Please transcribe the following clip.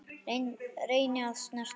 Reyni að snerta hann.